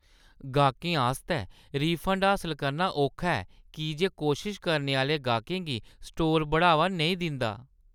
गाह्कें आस्तै रिफंड हासल करना औखा ऐ की जे कोशश करने आह्‌ले गाह्कें गी स्टोर बढ़ावा नेईं दिंदा।